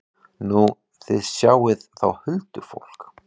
Nú, þið sjáið þá huldufólk?